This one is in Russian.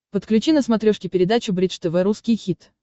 подключи на смотрешке передачу бридж тв русский хит